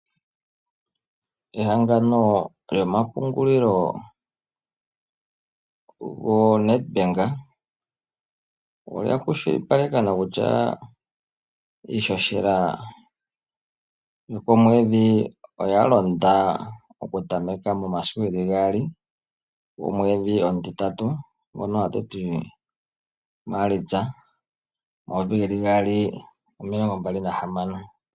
Ehangano lyomapungulilo go Nadbank, olya kwashilipalekwa nokutya, iishoshela yokomwedhi oya londa oku tameka momasiku ge li gaali gomwedhi omutitatu ngono hatu ti maalitsa, omayovi ge li gaali omilongo mbali na hamano